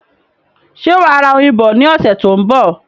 Ṣé wà á ra oyin bọ ní ọ̀sẹ̀ tó ń bọ̀?